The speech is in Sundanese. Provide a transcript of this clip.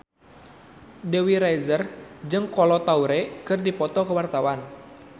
Dewi Rezer jeung Kolo Taure keur dipoto ku wartawan